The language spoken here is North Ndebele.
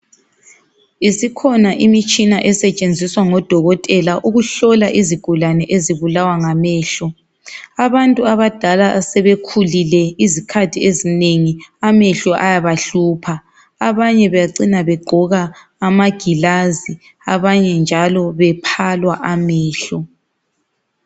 Isikhona imitshina esetshenziswa ngodokotela ukuhlola izigulane ezibulawa ngamehlo abantu abadala asebekhulile izikhathi ezinengi amehlo ayabahlupha abanye bacina begqoka amagilazi abanye njalo bephalwa amehlo.